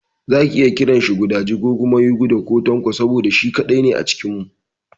Za ki iya kiranshi gudaji ko kuma yuguda ko Tanko saboda shi kaɗai ne a cikin mu.